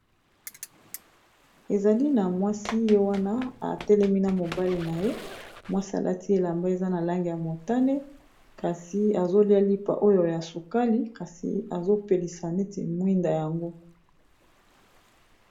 ezali na mwasi ye wana atelemi na mobale na ye mwasi alati elamba eza na lange ya motane kasi azolia lipa oyo ya sukali kasi azopelisa neti mwinda yango